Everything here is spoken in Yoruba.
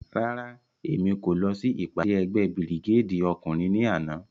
Rárá, Emi ko lọ si ipade ẹgbẹ Birigedi ọkunrin ni ana.